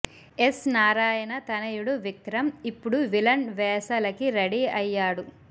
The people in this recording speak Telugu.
ఎస్ నారాయణ తనయుడు విక్రమ్ ఇప్పుడు విలన్ వేసలకి రెడీ అయ్యాడు